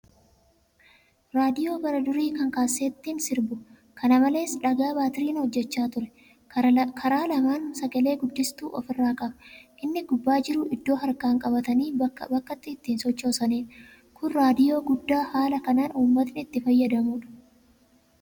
Raadiyoo bara durii kan kaasettiin sirbu. Kana malees, dhagaa baatiriin hojjachaa ture. Karaa lamaan sagale-guddistuu ofirraa qaba. Inni gubbaa jiru iddoo harkaan qabatanii bakka bakkatti ittiin sochoosaniidha. Kun raadiyoo guddaa haala kanaan uummatni itti fayyadamuudha.